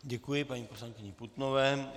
Děkuji paní poslankyni Putnové.